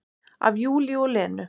Af Júlíu og Lenu.